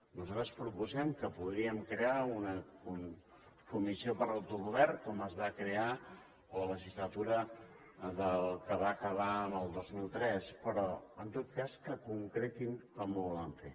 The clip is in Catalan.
nosaltres proposem que podríem crear una comissió per a l’autogovern com es va crear a la legislatura que va acabar en el dos mil tres però en tot cas que concretin com ho volen fer